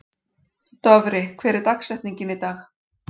Dofri, hver er dagsetningin í dag?